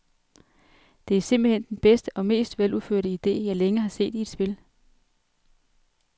Det er simpelt hen den bedste og mest veludførte ide, jeg længe har set i et spil.